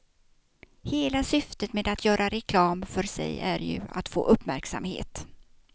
Hela syftet med att göra reklam för sig är ju att få uppmärksamhet.